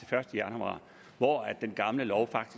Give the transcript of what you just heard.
første januar hvor den gamle lov